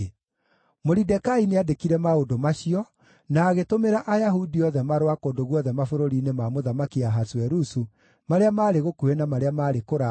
Moridekai nĩandĩkire maũndũ macio, na agĩtũmĩra Ayahudi othe marũa kũndũ guothe mabũrũri-inĩ ma Mũthamaki Ahasuerusu, marĩa maarĩ gũkuhĩ na marĩa maarĩ kũraya,